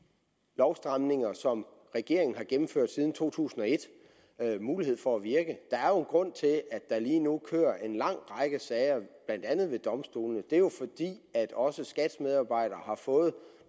lovstramninger som regeringen har gennemført siden to tusind og et mulighed for at virke der er jo en grund til at der lige nu kører en lang række sager blandt andet ved domstolene det er jo fordi også skats medarbejdere har fået